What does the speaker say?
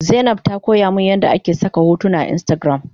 Zainab ta koyamin yadda ake saka hotuna a instagram